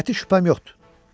Qəti şübhəm yoxdur.